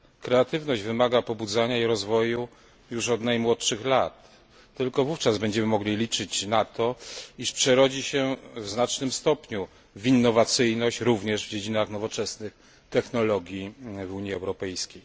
Kreatywność wymaga pobudzania i rozwoju już od najmłodszych lat, tylko wówczas będziemy mogli liczyć na to, iż przerodzi się w znacznym stopniu w innowacyjność również w dziedzinach nowoczesnych technologii w Unii Europejskiej.